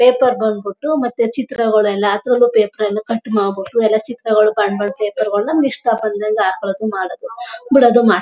paper ಬಂದ್ಬುಟು ಮತ್ತೆ ಚಿತ್ರಗಳೆಲ್ಲ ಹಾಕೊಂಡೊ ಪೇಪರ್ ಅನ್ನು ಕಟ್ ಮಾಡ್ಬುಟು ಎಲ್ಲಾ ಚಿತ್ರಗಳು ಬಂ ಬಣ್ಣ ಪೇಪರ್ ಗಳನ್ ನಮ್ ಇಷ್ಟ ಬಂದ್ಯಾಗೆ ಹಾಕೋಳದು ಮಾಡೋದೋ ಬಿಡೋದು ಮಾಡೋ --